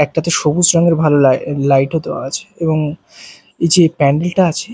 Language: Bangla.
একটাতে সবুজ রঙের ভালো লাই লাইটও -ও দেওয়া আছে এবং এইযে প্যান্ডেলটা -টা আছে--